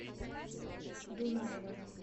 дунаева